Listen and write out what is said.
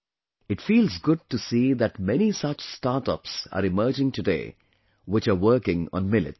It feels good to see that many such startups are emerging today, which are working on Millets